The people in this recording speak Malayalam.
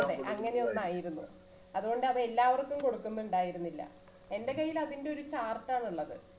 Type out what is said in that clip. ആ അതെ അങ്ങനെ ഒന്നായിരുന്നു അതുകൊണ്ടത് എല്ലാവർക്കും കൊടുക്കുന്നുണ്ടായിരുന്നില്ല